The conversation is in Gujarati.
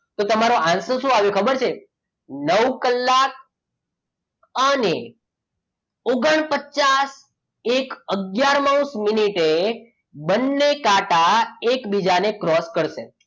તો તમારો answer શું આવે ખબર છે નવ કલાક અને ઓગણપચાસ એક આગયારમાં માઉસ મિનિટે બંને કાંટા એકબીજાને cross કરશે